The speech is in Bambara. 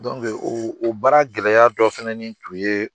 o o baara gɛlɛya dɔ fanani tun ye